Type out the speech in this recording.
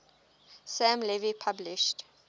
sam levy published